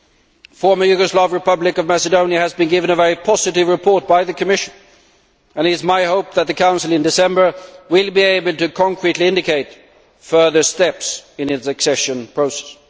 The former Yugoslav Republic of Macedonia has been given a very positive report by the Commission, and it is my hope that the Council in December will be able to concretely indicate further steps in its accession process.